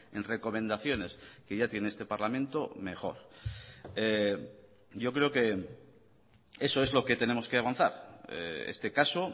en recomendaciones que ya tiene este parlamento mejor yo creo que eso es lo que tenemos que avanzar este caso